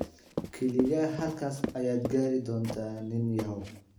Kaliya halkaas ayaad gaari doontaa, nin yahow.